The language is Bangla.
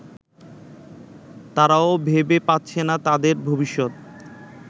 তারাও ভেবে পাচ্ছে না তাদের ভবিষ্যৎ